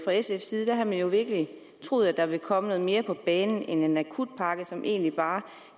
sfs side der havde man jo virkelig troet at der ville komme noget mere på banen end en akutpakke som egentlig bare